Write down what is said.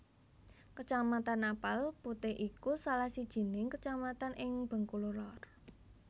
Kecamatan Napal Putih iku salah sijining kecamatan ing Bengkulu Lor